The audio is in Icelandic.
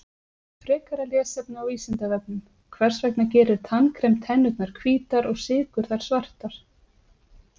Frekara lesefni á Vísindavefnum: Hvers vegna gerir tannkrem tennurnar hvítar og sykur þær svartar?